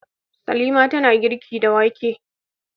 Salima tana girki da wake.